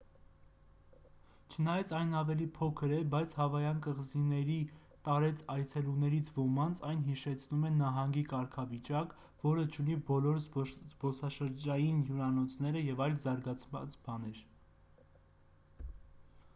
չնայած այն ավելի փոքր է բայց հավայան կղզիների տարեց այցելուներից ոմանց այն հիշեցնում է նահանգի կարգավիճակ որը չունի բոլոր զբոսաշրջային հյուրանոցները և այլ զարգացած բաներ